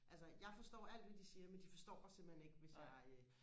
altså jeg forstår alt hvad de siger men de forstår mig simpelhen ikke hvis jeg øh